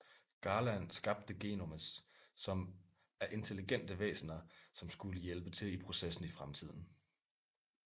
Garland skabte Genomes som er intelligente væsener som skulle hjælpe til i processen i fremtiden